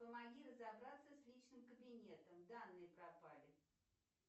помоги разобраться с личным кабинетом данные пропали